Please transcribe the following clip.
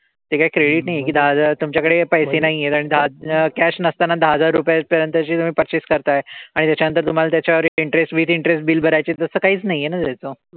ते काही credit नाही आहे कि दहा हजार तुमच्याकडे पैसे नाही आहेत आणि cash नसताना दहा हजार रुपयांपर्यंतची तुम्ही purchase करताय. आणि त्याच्यानंतर तुम्हाला त्याच्यावर interest with interest bill भरायची आहे. तसं काहीच नाही आहे ना त्याचं.